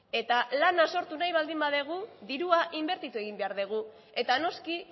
eta lana sortu nahi baldin badugu dirua inbertitu egin behar dugu eta noski